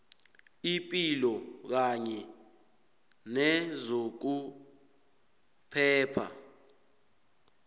ipilo kanye nezokuphepha